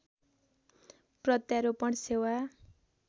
प्रत्यारोपण सेवा